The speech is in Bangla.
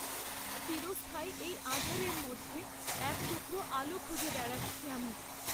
চিরস্থায়ী এই আঁধারের মধ্যে এক টুকরো আলো খুঁজে বেড়াচ্ছি আমি।